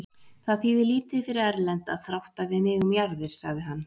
Það þýðir lítið fyrir Erlend að þrátta við mig um jarðir, sagði hann.